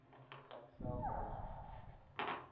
ek self aansoek